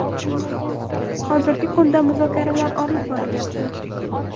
Hozirgi kunda muzokaralar olib borilyapti.